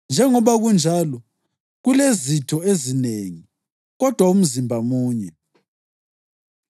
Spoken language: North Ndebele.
Njengoba kunjalo, kulezitho ezinengi, kodwa umzimba munye.